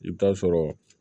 I bɛ taa sɔrɔ